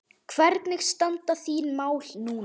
Hvernig standa þín mál núna?